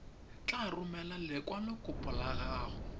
tla romela lekwalokopo la gago